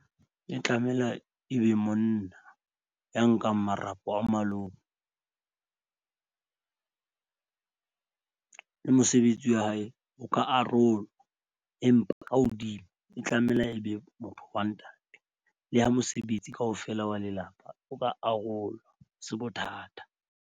E tlamela e be monna ya nkang marapo a malome le mosebetsi wa hae o ka arolwa. Empa ka hodimo e tlamela e be motho wa ntate le ha mosebetsi kaofela wa lelapa. O ka arolwa ha se bothata.